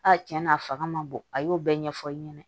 A tiɲɛ na a fanga ma bon a y'o bɛɛ ɲɛfɔ i ɲɛna